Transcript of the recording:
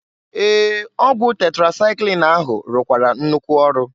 Ee! Ọgwụ tetrasaịklin ahụ rụkwara nnukwu ọrụ.